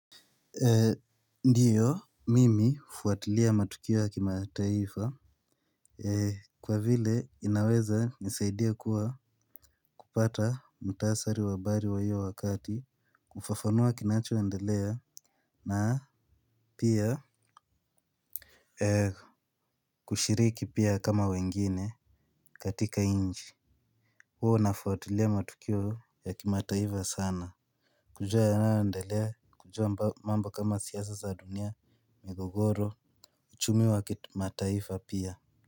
Ndiyo mimi hufuatilia matukio ya kima taifa. Kwa vile inaweza nisaidia kuwa kupata mtasari wa habari wa hiyo wakati kufafanua kinachoendelea na pia kushiriki pia kama wengine katika nchi. Huo nafuatilia matukio ya kima taifa sana. Kujua yanayoendelea kujua mambo kama siasa za dunia. Migogoro, uchumi wa mataifa pia.